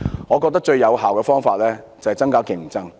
我覺得最有效的方法，就是增加競爭。